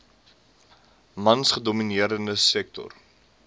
mans gedomineerde sektor